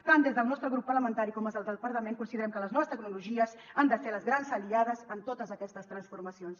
tant des del nostre grup parlamentari com des del departament considerem que les noves tecnologies han de ser les grans aliades en totes aquestes transformacions